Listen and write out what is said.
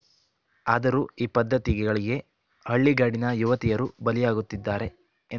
ಆದರೂ ಈ ಪದ್ಧತಿಗಳಿಗೆ ಹಳ್ಳಿಗಾಡಿನ ಯುವತಿಯರು ಬಲಿಯಾಗುತ್ತಿದ್ದಾರೆ